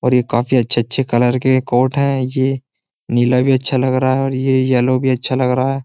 और ये काफी अच्छे-अच्छे कलर के कोर्ट हैं ये नीला भी अच्छा लग रहा है और ये येलो भी अच्छा लग रहा है।